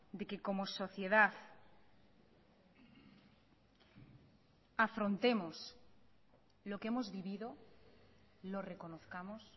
de que como sociedad afrontemos lo que hemos vivido lo reconozcamos